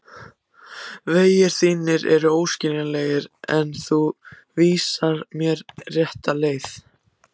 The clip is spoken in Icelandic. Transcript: Vegir þínir eru óskiljanlegir en þú vísar mér rétta leið.